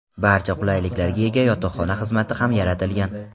Barcha qulayliklarga ega yotoqxona xizmati ham yaratilgan.